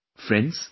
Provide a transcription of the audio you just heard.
Friends,